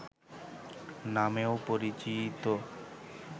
নামেও পরিচিত